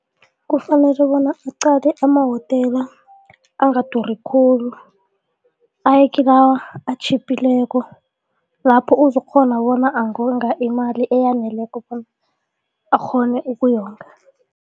Kufanele bona uqale amawotela angaduri khulu, aye kilawa atjhiphileko lapho uzokukghona bona angonga imali eyaneleko bona akghone ukuyonga.